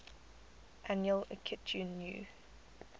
annual akitu new